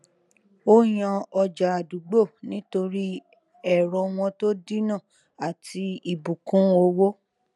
ó yàn ọjà àdúgbò nítorí ẹrọ wọn tó dínà àti ibùkún owó